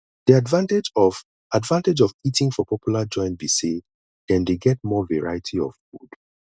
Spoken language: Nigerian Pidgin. di advantage of advantage of eating for popular joints be say dem dey get more variety of food